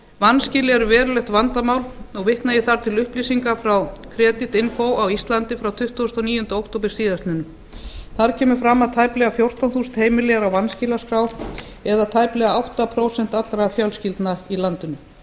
vanskil eru verulegt vandamál og vitna ég þar til upplýsinga frá kredit inni á íslandi frá tuttugasta og níunda október síðastliðinn þar kemur fram að tæplega fjórtán þúsund heimili eru á vanskilaskrá eða tæplega átta prósent allra fjölskyldna í landinu